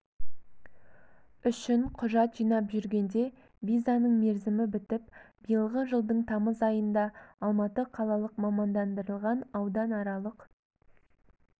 үшін құжат жинап жүргенде визаның мерзімі бітіп биылғы жылдың тамыз айында алматы қалалық мамандандырылған ауданаралық